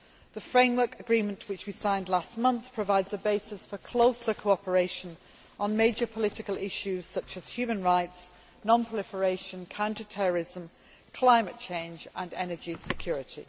The framework agreement, which we signed last month, provides a basis for closer cooperation on major political issues such as human rights, non proliferation, counter terrorism, climate change and energy security.